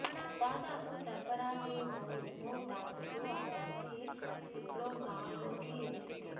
దాదాపు సర్ఫరాజ్ గ్లౌస్ను తాకుతూ ఆ బంతి స్లిప్లో గాల్లోకి ఎగిరింది